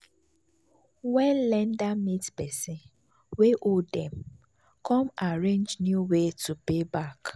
when lender meet person wey owe dem come arrange new way to pay back.